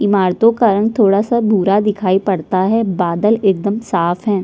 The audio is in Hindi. इमारतों का रंग थोडा सा भूरा दिखाई पड़ता है बादल एकदम साफ़ हैं।